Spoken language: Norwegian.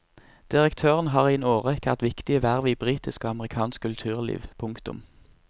Direktøren har i en årrekke hatt viktige verv i britisk og amerikansk kulturliv. punktum